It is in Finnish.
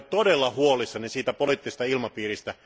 Olen todella huolissani tästä poliittisesta ilmapiiristä.